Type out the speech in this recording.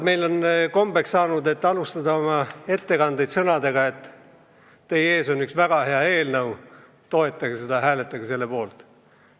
Meil on kombeks saanud alustada teatud ettekandeid sõnadega, et teie ees on üks väga hea eelnõu, toetage seda ja hääletage selle poolt.